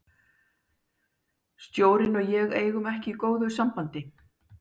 Stjórinn og ég eigum ekki í góðu sambandi.